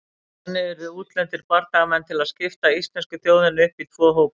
Þannig urðu útlendir bardagamenn til að skipta íslensku þjóðinni upp í tvo hópa.